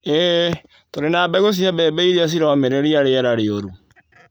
Iĩ, tũrĩ na mbegũ cia mbembe irĩa ciromĩrĩria rĩera rĩũru.